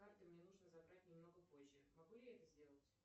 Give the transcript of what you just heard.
карты мне нужно забрать немного позже могу я это сделать